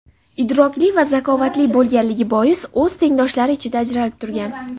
idrokli va zakovatli bo‘lganligi bois o‘z tengdoshlari ichida ajralib turgan.